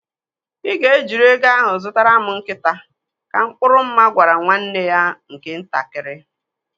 Ị ga ejiri ego ahụ zụtara m nkịta, ka Mkpụrụ Mma gwara nwanne ya nke ntakịrị.